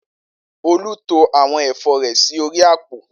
Olú to àwọn ẹ̀fọ́ rẹ̀ sí orí àpò